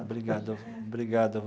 Obrigado a vo obrigado a vo.